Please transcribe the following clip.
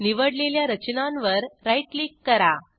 निवडलेल्या रचनांवर right click करा